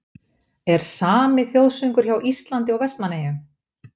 Er SAMI þjóðsöngur hjá Íslandi og Vestmannaeyjum?